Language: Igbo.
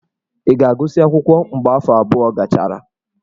Ị ga-agụsị akwụkwọ mgbe afọ abụọ gachara?